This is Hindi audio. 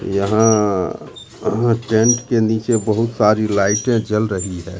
यहां टेंट के नीचे बहोत सारी लाइटे जल रही है।